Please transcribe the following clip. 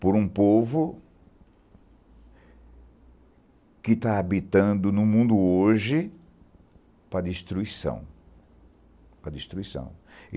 por um povo que está habitando no mundo hoje para destruição.